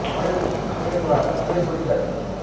बड़े उत्तरी खमेर द्वारा खमेर बोली जाती है